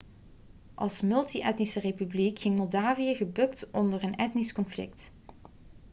als multi-etnische republiek ging moldavië gebukt onder een etnisch conflict